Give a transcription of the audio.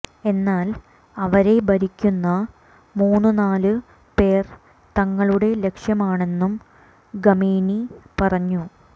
എന്നാൽ അവരെ ഭരിക്കുന്ന മൂന്നുനാലു പേർ തങ്ങളുടെ ലക്ഷ്യമാണെന്നും ഖമേനി പറഞ്ഞു